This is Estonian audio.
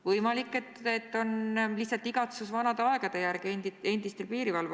Võimalik, et endistel piirivalveohvitseridel on lihtsalt igatsus vanade aegade järele.